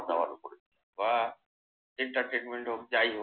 খাওয়ার উপরে বা entertainment হোক যাই হোক